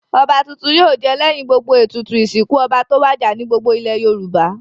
Ọba tuntun yóò jẹ lẹ́yìn gbogbo ètùtù ìsìkún ọba tó wàjà ní gbogbo ilẹ̀ Yorùbá.